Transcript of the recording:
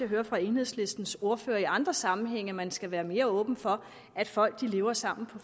hører fra enhedslistens ordfører i andre sammenhænge man skal være mere åben for at folk lever sammen